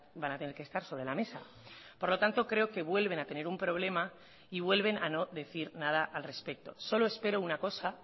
van a tener que estar sobre la mesa por lo tanto creo que vuelven a tener un problema y vuelven a no decir nada al respecto solo espero una cosa